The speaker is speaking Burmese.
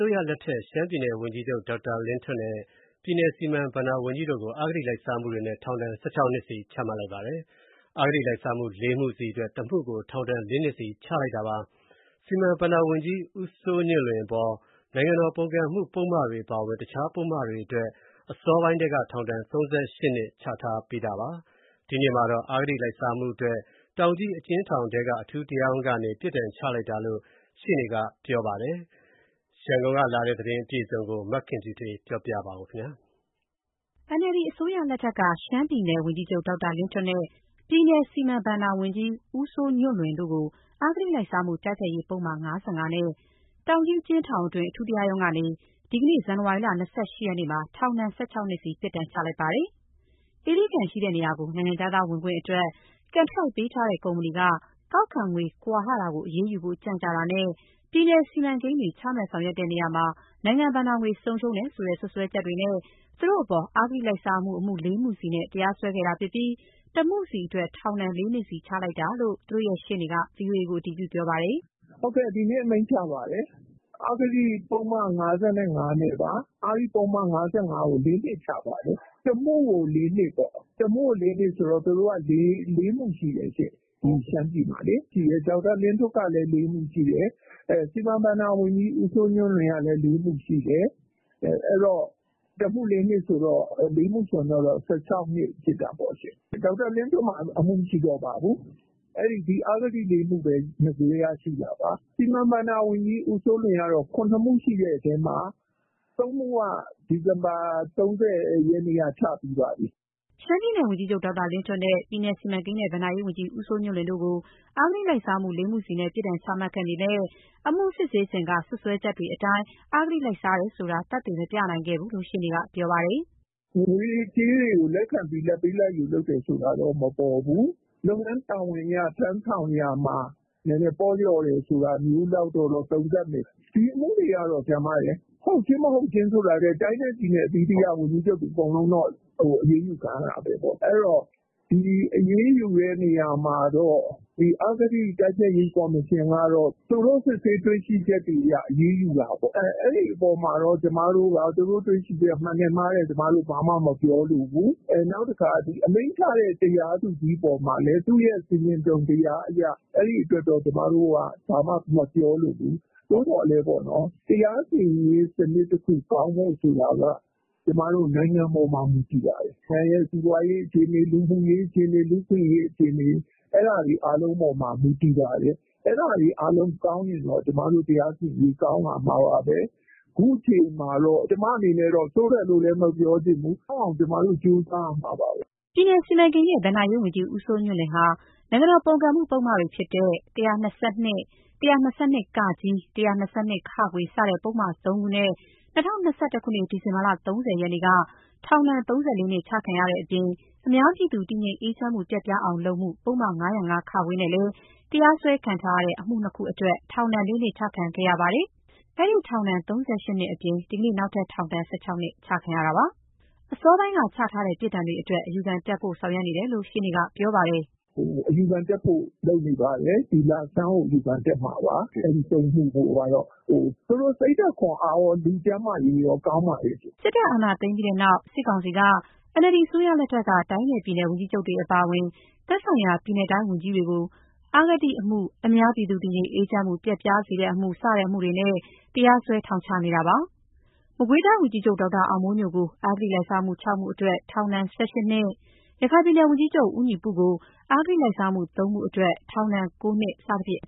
ိုးရလက်ထက် ရှမ်းပြည်နယ် ဝန်ကြီးချုပ်နဲ့ ပြည်နယ်စီမံဘဏ္ဍာဝန်ကြီးတို့ကို အဂတိလိုက်စားမှုတွေနဲ့ ထောင်ဒဏ် ၁၆ နှစ်စီချမှတ်လိုက်ပါတယ်။ အဂတိလိုက်စားမှု ၄ မှုစီအတွက် ၁ မှုကို ထောင် ၄ နှစ်စီ ချလိုက်တာပါ။ စီမံဘဏ္ဍာဝန်ကြီး ဦးစိုးညွန့်လွင်အပေါ် နိုင်ငံတော်ပုန်ကန်မှု ပုဒ်မတွေအပါအဝင်၊ တခြားပုဒ်မတွေအတွက် အစောပိုင်းထဲက ထောင်ဒဏ် ၃၈ နှစ်ချထားတာပါ။ ဒီနေ့မှာတော့ အဂတိလိုက်စားမှုအတွက် တောင်ကြီးအကျဉ်းထောင်ထဲက အထူးတရားရုံးကနေ ပြစ်ဒဏ်ချလိုက်တာလို့ ရှေ့နေက ပြောပါတယ်။ အပြည့်အစုံ ရန်ကုန်ကလာတဲ့သတင်းကို မခင်ဖြူထွေး ကပြောပြပါမယ်။ NLD အစိုးရလက်ထက်က ရှမ်းပြည်နယ် ဝန်ကြီးချုပ် ဒေါက်တာလင်းထွဋ် နဲ့ ပြည်နယ်စီမံဘဏ္ဍာဝန်ကြီးဦးစိုးညွှန့်လွင်တို့ကို အဂတိလိုက်စားမှု တိုက်ဖျက်ရေး ပုဒ်မ ၅၅ နဲ့ တောင်ကြီးအကျဉ်းထောင်တွင်း အထူးတရားရုံးကနေ ဒီနေ့ ဇန်နဝါရီလ ၂၈ ရက်မှာ ထောင်ဒဏ် ၁၆ နှစ်စီ ပြစ်ဒဏ်ချလိုက်ပါတယ်။ အင်းလေးကန်ရှိရာ နိုင်ငံခြားသားဝင်ခွင့်အတွက် ကွန်ထရိုက်ပေးထားတဲ့ကုမ္ပဏီက ကောက်ခံငွေကွာဟတာကို အရေးယူဖို့ကြန့်ကြာတာနဲ့၊ ပြည်နယ် စီမံကိန်းတွေ ချမှတ်ဆောင်ရွက်တဲ့နေရာမှာ နိုင်ငံဘဏ္ဍာငွေ ဆုံးရှုံးတယ်ဆိုတဲ့ စွပ်စွဲချက်တွေနဲ့ သူတို့အပေါ် အဂတိလိုက်စားမှု ၄ မှုစီနဲ့ တရားစွဲခဲ့တာဖြစ်ပြီး ၁ မှုစီအတွက် ထောင်ဒဏ် ၄ နှစ်စီချလိုက်တာလို့ သူတို့ရှေ့နေက ဗွီအို အေကိုအတည်ပြုပြောပါတယ်။ "ဟုတ်ကဲ့ ဒီနေ့အမိန့်ချပါတယ်။ အဂတိပုဒ်မ ၅၅နဲ့ပါ။ အဂတိ ပုဒ်မ ၅၅ ကို ၄ နှစ်ချပါတယ်။ တမှုကို ၄ နှစ်ပေါ့ ၊ သူတို့က ၄ နှစ်ရှိတယ်ရှင့်။ ဒီရှမ်းပြည်မှာလေ။ ဒေါက်တာ လင်းထွဋ်ကလည်း ၄ မှုရှိတယ်။ စီမံဘဏ္ဍာဝန်ကြီးဦးစိုးညွှန့်လွင်ကလည်း ၄ မှုရှိတယ်။ တမှု ၄ နှစ်ဆိုတော့ ၄ မှု ၁၆ နှစ်ဖြစ်တာပေါ့ရှင့်။ မရှိဘူးရှင့် ဒေါက်တာလင်းထွဋ်မှာ အမှုမရှိတော့ပါဘူး။ ဒီအဂတိ ၄ မှု ဘဲ နဂိုထဲကရှိတာပါ။ စီမံဘဏ္ဍာဝန်ကြီးဦးစိုးညွှန့်လွင်က ၇ မှုရှိခဲ့တာမှာ ၃ မှုက ဒီဇင်ဘာ ၃၀ ရက်က အမိန့်ချပြီးပါပြီ။" ရှမ်းပြည်နယ်ဝန်ကြီးချုပ် ဒေါက်တာလင်းထွဋ်နဲ့ ပြည်နယ်စီမံကိန်းနဲ့ ဘဏ္ဍာရေးဝန်ကြီးဦးစိုးညွန့်လွင်တို့ကို အဂတိလိုက်စားမှု ၄ မှုစီနဲ့ ပြစ်ဒဏ်ချခဲ့ပေမဲ့ အမှုစစ်ဆေးခဲ့စဉ်က စွပ်စွဲချက်တွေအတိုင်း အဂတိလိုက်စားတယ်ဆိုတာ သက်သေ မပြနိုင်ခဲ့ဘူးလို့လည်း ရှေ့နေက ပြောပါတယ်။ "ငွေကြေးတွေကို လက်ခံပြီးလာဘ်ပေးလာဘ်ယူတာတော့မပေါ် ဘူး။ လုပ်ငန်းတာဝန်ထမ်းဆောင်တာမှာ နည်းနည်းပေါ့တာမျိုးတော့သုံးသပ်မယ်။ ဒီအမှုတွေက ဟုတ် ချင်းမဟုတ်ချင်းထက် တိုင်းနဲ့ပြည်နယ် ဝန်ကြီးချုပ်တွေအကုန်တော့ အရေးယူခံရတာပါဘဲ။ ဒီအရေးယူ တဲ့နေရာမှာတော့ အဂတိတိုက်ဖျက်ရေးကော်မရှင်ကတော့ သူတို့စစ်ဆေးတွေ့ရှိချက် အပေါ် အရေးယူတာပေါ့ ။အဲအပေါ်မှာကျမတို့အနေနဲ့ မှန်တယ်မှားတယ် ဘာမှမပြောလိုဘူး။ နောက်တခုက အမိန့်ချတဲ့ တရားသူကြီးရဲ့ဆင်ခြင်တုံတရားအပေါ် အဲဒီအပေါ်ဘာမှမပြောလိုဘူး။ သိူ့သော်တရားစီ ရင်ရေးစနစ်ကောင်းဖို့ဆိုတာက နိုင်ငံပေါ်မူတည်ပါတယ်။ နိုင်ငံစီးပွားရေး၊ လူမှုရေး လူ့အခွင့်အရေး ပေါ် မူတည်ပါတယ်။ အဲဒါတွေကောင်းရင်တော့ ကျမတို့တရားစီရင်ရေးကောင်းလာမှာပါဘဲ။ ခုခြေအနေမှာတော့ ကျမတော့ ဆိုးတယ်မပြောချင်ဘူး။ ကောင်းအောင်ကျမတို့ကြိုးစားရမှာပါဘဲ။ " ပြည်နယ်စီမံကိန်းနဲ့ ဘဏ္ဍာရေးဝန်ကြီးဦးစိုးညွန့်လွင်ဟာ နိုင်ငံတော်ပုန်ကုန်မှု ပုဒ်မတွေဖြစ်တဲ့ ၁၂၂၊ ၁၂၂ (က)၊ ၁၂၂ (ခ) စတဲ့ ပုဒ်မ ၃ ခုနဲ့ ၂၀၂၁ ဒီဇင်ဘာလ ၃၀ ရက်က ထောင်ဒဏ် ၃၄ နှစ် ချခံရတဲ့အပြင်၊ အများပြည်သူတည်ငြိမ် အေးချမ်းမှု ပျက်ပြားအောင်လုပ်မှု ပုဒ်မ ၅၀၅-ခ နဲ့တရားစွဲခဲ့တဲ့ အမှု ၂ ခုအတွက်လည်း ထောင်ဒဏ် ၄ နှစ်ချခံခဲ့ရပါတယ်။ အဲဒီထောင်ဒဏ် ၃၈ နှစ်အပြင် ဒီနေ့မှာ နောက်ထပ် ထောင်ဒဏ် ၁၆ နှစ်ချခံရတာဖြစ်ပါတယ်။ အစောပိုင်းက ချထားတဲ့ ပြစ်ဒဏ်တွေအတွက် အယူတက်ဖို့ဆောင်ရွက်နေတယ်လို့ ရှေ့နေက ပြောပါတယ်။ "အယူခံတက်ဖို့လုပ်နေပါတယ်။ ဒီလဆန်းကိုအယူခံတက်မှာပါ။ အဲ ၃မှုကိုကတော့ သူတို့စိတ်ဓါတ်ခွန်အားကောလူကျန်းမာရေးကောကောင်းပါတယ်။" စစ်တပ်အာဏာသိမ်းပြီးနောက်မှာ စစ်ကောင်စီက NLD အစိုးရလက်ထက်က တိုင်းနဲ့ပြည်နယ် ဝန်ကြီးချုပ်တွေအပါအဝင်၊ သက်ဆိုင်ရာ ပြည်နယ်တိုင်း ဝန်ကြီးတွေကိုလည်း အဂတိအမှု၊ အများပြည်သူ တည်ငြိမ်အေးချမ်းမှုပျက်ပြားစေတဲ့မှု စတဲ့အမှုတွေနဲ့ တရားစွဲ ထောင်ချနေပါတယ်။ မကွေးတိုင်းဝန်ကြီးချုပ် ဒေါက်တာအောင်မိုးညိုကို အဂတိလိုက်စားမှု ၆ မှုအတွက် ထောင်ဒဏ် ၁၈ နှစ်၊ ရခိုင်ပြည်နယ်ဝန်ကြီးချုပ် ဦးညီပုကို အဂတိလိုက်စားမှု ၃ မှုအတွက် ထောင်ဒဏ် ၉ နှစ် စသဖြင့် အ